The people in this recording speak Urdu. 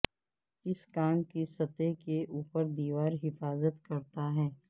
اس کام کی سطح کے اوپر دیوار حفاظت کرتا ہے